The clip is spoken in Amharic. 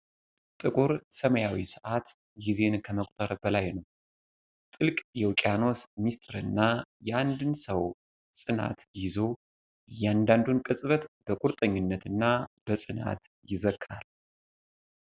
ጥቁር ሰማያዊ ሰዓት ጊዜን ከመቁጠር በላይ ነው። ጥልቅ የውቅያኖስን ምስጢርና የአንድን ሰው ጽናት ይዞ፣ እያንዳንዱን ቅጽበት በቁርጠኝነትና በጸጥታ ይዘክራል ።